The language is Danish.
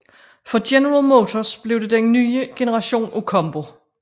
For General Motors blev det den nye generation af Combo